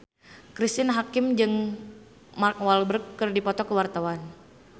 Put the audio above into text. Cristine Hakim jeung Mark Walberg keur dipoto ku wartawan